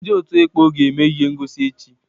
Ndị ọ̀tú ekpọ ga-eme ihe ngọsi echi.